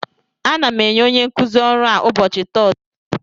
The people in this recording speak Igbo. Ana m enye onye nkuzi ọrụ a ụbọchị Tọzdee a